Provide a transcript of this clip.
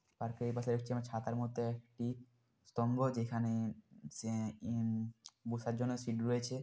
পার্কের এ পাশে হচ্ছে যেমন ছাতার মধ্যে একটি স্তম্ভ যেখানে-এ সে ইম বুসার জন্য সিট রয়েছে।